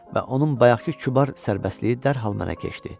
Və onun bayaqkı kübar sərbəstliyi dərhal mənə keçdi.